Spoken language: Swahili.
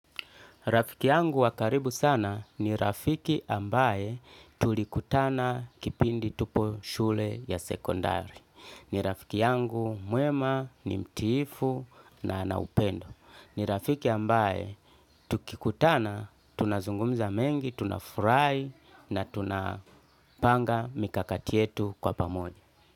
Rafiki yangu wa karibu sana ni rafiki ambaye tulikutana kipindi tupo shule ya sekondari. Ni rafiki yangu mwema ni mtiifu na ana upendo. Ni rafiki ambaye tukikutana tunazungumza mengi, tunafurahi na tunapanga mikakati yetu kwa pamoja.